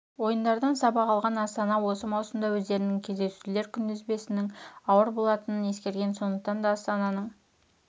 ойындардан сабақ алған астана осы маусымда өздерінің кездесулер күнтізбесінің ауыр болатынын ескерген сондықтан да астананың